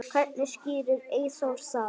Hvernig skýrir Eyþór það?